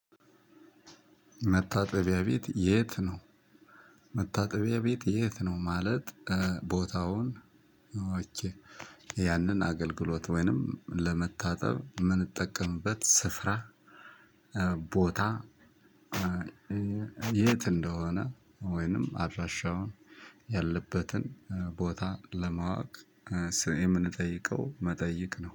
መታጠቢያ ቤት የት ነው? መታጠቢያ ቤት የት ነው ማለት ቦታውን ያንን አገልግሎት ወይንም ለመታጠብ የምንጠቀምበት ስፍራ። ቦታ። የት እንደሆነ ወይንም አድራሻውን ያለበትን ቦታ ለማወቅ የምንጠይቀው መጠይቅ ነው